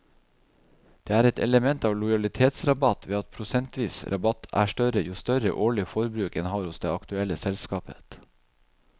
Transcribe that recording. Det er et element av lojalitetsrabatt ved at prosentvis rabatt er større jo større årlig forbruk en har hos det aktuelle selskapet.